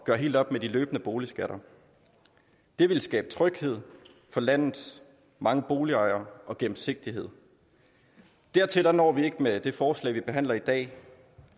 gøre helt op med de løbende boligskatter det vil skabe tryghed for landets mange boligejere og gennemsigtighed dertil når vi ikke med det forslag vi behandler i dag